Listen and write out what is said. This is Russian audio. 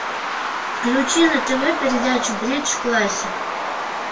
включи на тв передачу бридж классик